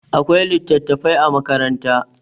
akwai litattafai a makaranta